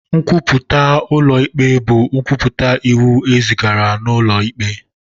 Nkwupụta ụlọ ikpe bụ nkwupụta iwu e zigara n'ụlọ ikpe.